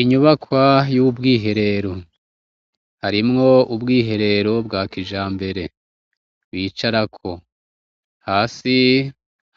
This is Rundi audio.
Inyubakwa yubwiherero harimwo ubwiherero bwa kijambere bicarako hasi